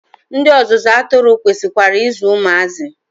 Ndị ọzụzụ atụrụ kwesikwara I zụ ụmụazị.